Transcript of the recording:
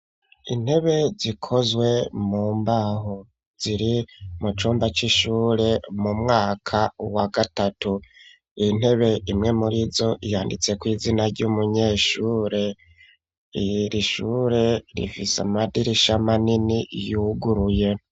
Intebe zikozwe mu mbaho ziri mu cumba c'ishure mu mwaka wa gatatu .Iyintebe imwe muri zo yanditse ku izina ry'umunyeshure iyirishure rifis amadirisha manini yuguruye.